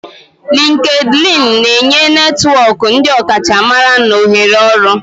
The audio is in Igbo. LinkedIni na-enye netwọk ndi ọkachamara na ohere ọrụ.